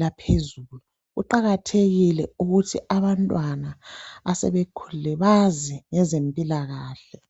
laphezulu, kuqakathekile ukuthi abantwana asebekhulile bazi ngezempilakahle